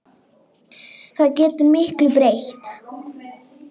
Það getur miklu breytt.